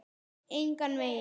Engan veginn